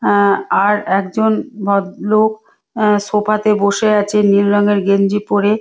অ্যা আর একজন ভদলোক অ্যা সোফা তে বসে আছে নীল রঙের গেঞ্জি পরে।